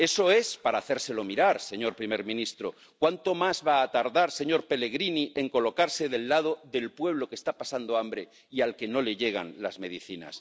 Eso es para hacérselo mirar, señor presidente del Gobierno. ¿Cuánto más va a tardar, señor Pellegrini, en colocarse del lado del pueblo que está pasando hambre y al que no le llegan las medicinas?